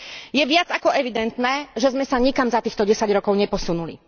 Je viac ako evidentné, že sme sa nikam za týchto desať rokov neposunuli.